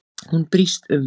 Hún brýst um.